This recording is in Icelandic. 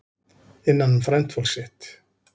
Innan um frændfólk sitt